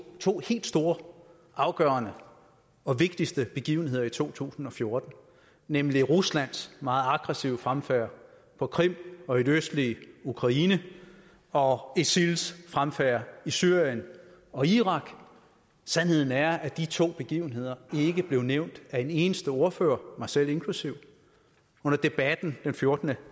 to helt store afgørende og vigtigste begivenheder i to tusind og fjorten nemlig ruslands meget aggressive fremfærd på krim og i det østlige ukraine og isils fremfærd i syrien og irak sandheden er at de to begivenheder ikke blev nævnt af en eneste ordfører mig selv inklusive under debatten den fjortende